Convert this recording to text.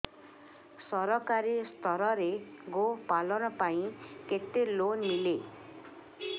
ସରକାରୀ ସ୍ତରରେ ଗୋ ପାଳନ ପାଇଁ କେତେ ଲୋନ୍ ମିଳେ